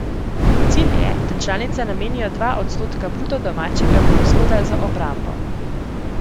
Cilj je, da članice namenijo dva odstotka bruto domačega proizvoda za obrambo.